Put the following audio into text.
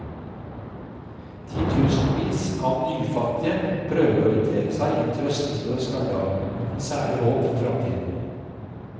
Titusenvis av nyfattige prøver å orientere seg i en trøstesløs hverdag, uten særlig håp for fremtiden.